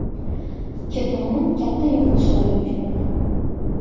Ikki tomon katta yo‘qotishlarga uchradi.